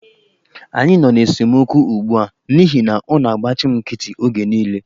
Anyị nọ n'esemokwu ugbu a n'ihi na ọ na-agbachị m nkịtị oge niile.